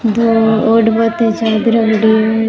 दो ओढ़बा ताई चादरा पड़ी है।